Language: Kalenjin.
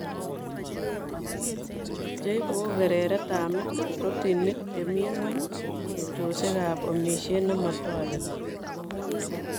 Cheibu ko kerertab met, protinik chemii ng'weny, tupchosiek ak omisiet nemotoreti